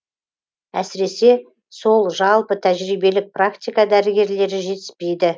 әсіресе сол жалпы тәжірибелік практика дәрігерлері жетіспейді